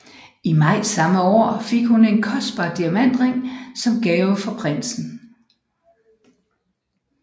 I maj samme år fik hun en kostbar diamantring som gave fra prinsen